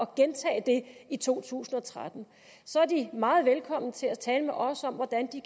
gentage det i to tusind og tretten så er de meget velkomne til at tale med os om hvordan de